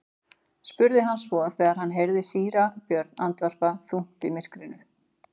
spurði hann svo þegar hann heyrði síra Björn andvarpa þungt í myrkrinu.